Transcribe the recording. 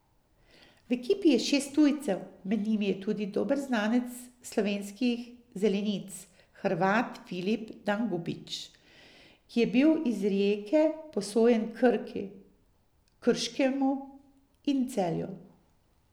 V ekipi je šest tujcev, med njimi tudi dober znanec slovenskih zelenic, Hrvat Filip Dangubić, ki je bil iz Rijeke posojen Krki, Krškemu in Celju.